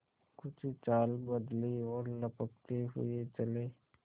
कुछ चाल बदली और लपकते हुए चले